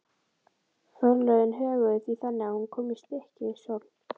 Forlögin höguðu því þannig að hún kom í Stykkishólm.